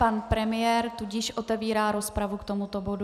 Pan premiér, tudíž otevírá rozpravu k tomuto bodu.